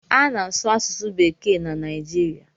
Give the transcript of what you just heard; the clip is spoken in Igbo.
A na-asụ asụsụ bekee na Naijiria.